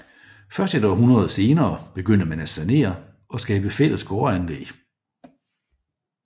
Først et århundrede senere begyndte man at sanere og skabe fælles gårdanlæg